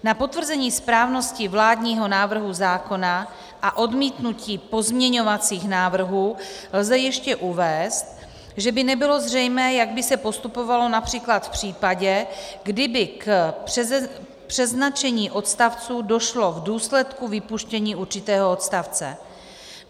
Na potvrzení správnosti vládního návrhu zákona a odmítnutí pozměňovacích návrhů lze ještě uvést, že by nebylo zřejmé, jak by se postupovalo například v případě, kdyby k přeznačení odstavců došlo k důsledku vypuštění určitého odstavce.